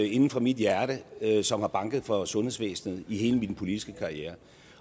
inde fra mit hjerte som har banket for sundhedsvæsenet i hele min politiske karriere